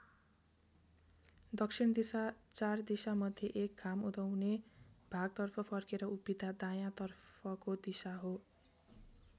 दक्षिण दिशा चार दिशा मध्ये एक घाम उदाउने भागतर्फ फर्केर उभिँदा दायाँ तर्फको दिशा हो।